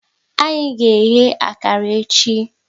Anyị ga eghe akara echi